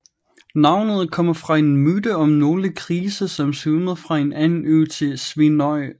Navnet kommer fra en myte om nogle grise som svømmede fra en anden ø til Svínoy